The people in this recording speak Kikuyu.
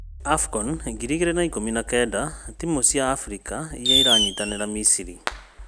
Afcon ngiri igĩrĩ na ikũmi na kenda: timũ cia Afrika iria iranyitanĩra Misiri